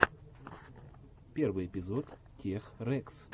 первый эпизод тех рэкс